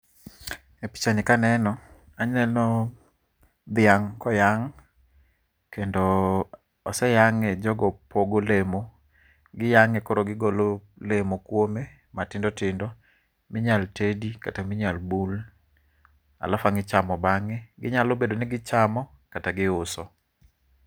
E pichani kaneno, aneno dhiang' koyang' kendo oseyang'e jogo pogo lemo. Giyang'e koro gigolo lemo kuome matindotindo minyal tedi kata minyal bul alafu ang'ichamo bamg'e, ginyalo bedo ni gichamo kata giuso.